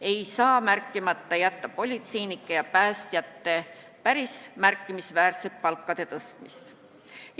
Ei saa märkimata jätta politseinike ja päästjate palkade päris märkimisväärset tõstmist.